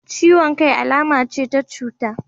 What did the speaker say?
Ciwon kai alama ce ta cuta,